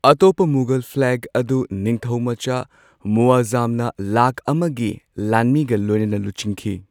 ꯑꯇꯣꯞꯄ ꯃꯨꯘꯜ ꯐ꯭ꯂꯦꯒ ꯑꯗꯨ ꯅꯤꯡꯊꯧꯃꯆꯥ ꯃꯨꯑꯥꯖꯖꯝꯅ ꯂꯥꯈ ꯑꯃꯒꯤ ꯂꯥꯟꯃꯤꯒ ꯂꯣꯏꯅꯅ ꯂꯨꯆꯤꯡꯈꯤ꯫